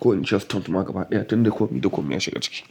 ko in ce stunt ma gabaya tun da komi da komi ya shiga ciki.